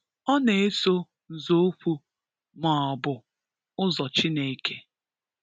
Ọ na-eso nzokwu ma ọ bụ ụzọ Chineke.